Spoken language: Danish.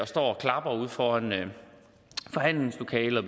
står og klapper ude foran forhandlingslokalet